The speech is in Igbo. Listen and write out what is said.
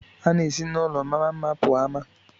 A na-esi n'ulọ mara mma pụọ ama.